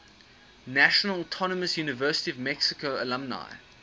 national autonomous university of mexico alumni